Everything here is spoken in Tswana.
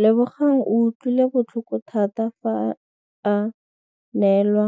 Lebogang o utlwile botlhoko tota fa a neelwa